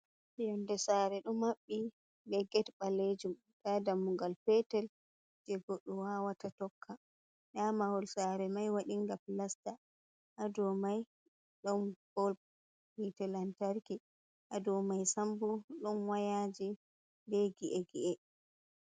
Yonde sare ɗo mabɓi be get ɓalejum, nda dammugal petel je goɗɗo wawata tokka, nda mahol sare mai waɗinga pilasta hadow mai ɗon bol hite lantarki, ha dowmai sambo ɗon wayaji be gi’e gi’e.